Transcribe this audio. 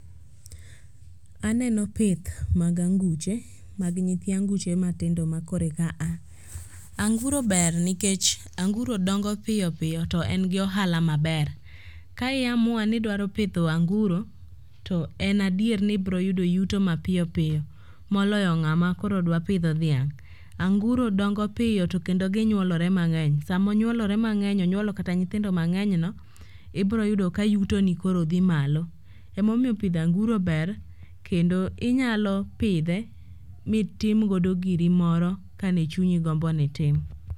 Aneno pith mag anguche mag nyithi anguche matindo makoro eka a. Anguro ber nikech anguro dongo piyo piyo to en gi ohala maber. Ka i amua ni idwaro pidho anguro to en adier ni ibroyudo yuto mapiyopiyo moloyo ng'ama koro dwa pidho dhiang'. Anguro dongo piyo to kendo ginyuolore mang'eny onyuolo kata nyithindo mang'enyno, ibroyudo ka yutoni koro dhi malo, emomiyo pidho anguro ber kendo inyalo pidhe mitimgodo giri moro ka ne chunyi gombo ni itim.